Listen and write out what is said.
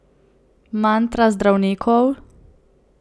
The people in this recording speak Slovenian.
Mantra zdravnikov?